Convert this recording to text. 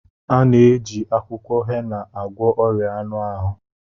A na-eji akwụkwọ hena agwọ ọrịa anụ ahụ